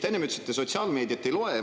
Te enne ütlesite, et te sotsiaalmeediat ei loe.